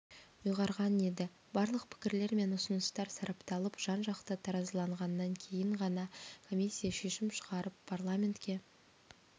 ұйғарған еді барлық пікірлер мен ұсыныстар сарапталып жан-жақты таразыланғаннан кейін ғана комиссия шешім шығарып парламентке